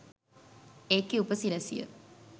ඒකේ ‍උ‍ප‍සි‍රැ‍සි‍ය